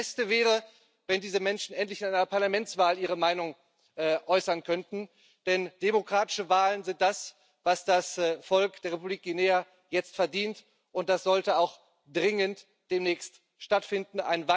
Das Beste wäre, wenn diese Menschen endlich in einer Parlamentswahl ihre Meinung äußern könnten, denn demokratische Wahlen sind das, was das Volk der Republik Guinea jetzt verdient, und dies sollte auch dringend demnächst stattfinden.